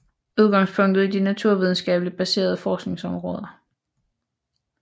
Udgangspunktet er de naturvidenskabeligt baserede forskningsområder